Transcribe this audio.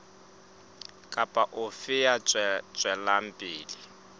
kapa ofe ya tswelang pele